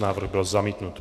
Návrh byl zamítnut.